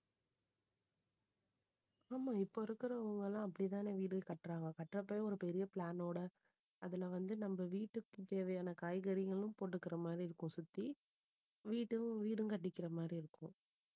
ஆமா இப்ப இருக்கறவங்க எல்லாம் அப்படித்தானே வீடு கட்டுறாங்க. கட்டுறப்பவே ஒரு பெரிய plan ஓட அதுல வந்து நம்ம வீட்டுக்குத் தேவையான காய்கறிகளும் போட்டுக்கற மாதிரி இருக்கும் சுத்தி வீடும் வீடும் கட்டிக்கிற மாதிரி இருக்கும்